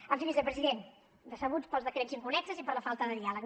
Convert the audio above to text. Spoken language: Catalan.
en fi vicepresident decebuts pels decrets inconnexos i per la falta de diàleg